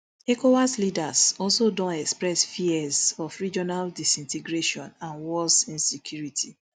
ecowas leaders also don express fears of regional disintegration and worse insecurity